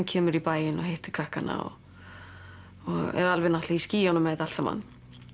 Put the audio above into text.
kemur í bæinn og hittir krakkana og er alveg náttúrulega í skýjunum með þetta allt saman